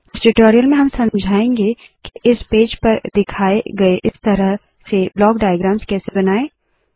इस ट्यूटोरियल में हम समझाएंगे के इस पेज पर दिखाए गए इस तरह के ब्लॉक डाइअग्राम्स कैसे बनाए